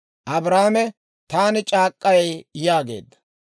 Abrahaame, «Taani c'aak'k'ay» yaageedda.